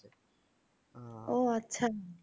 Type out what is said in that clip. ও আচ্ছা।